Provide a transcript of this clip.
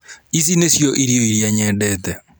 Ici nício irio iria nyedete